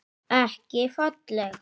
Ekki falleg.